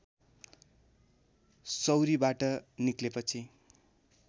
सौरीबाट निक्लेपछि